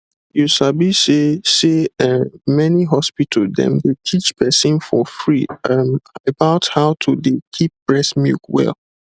you sabi say say[um]many hospital dem dey teach person for free ehm about how to dey keep breast milk well